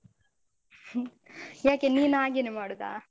ಯಾಕೆ ನೀನ್ ಹಾಗೆನೇ ಮಾಡುದಾ?